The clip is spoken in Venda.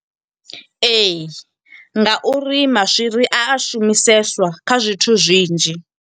Ee, ngauri maswiri a shumiseswa kha zwithu zwinzhi.